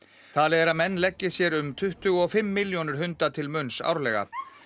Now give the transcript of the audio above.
talið er að menn leggi sér um tuttugu og fimm milljónir hunda til munns árlega